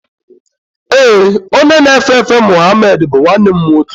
Ee, onye na-efe efe Muhammed bụ nwanne m nwoke.